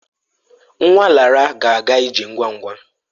Nwa Lara ga-aga ije ngwa ngwa.